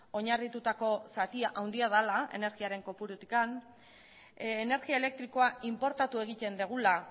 oinarritutako zatia handia dela energiaren kopurutik energia elektrikoa inportatu egiten dugula